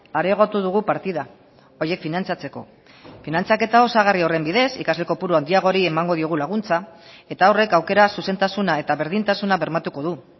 areagotu dugu partida horiek finantzatzeko finantzaketa osagarri horren bidez ikasle kopurua handiagori emango diogu laguntza eta horrek aukera zuzentasuna eta berdintasuna bermatuko du